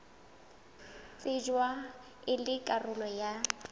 shejwa e le karolo ya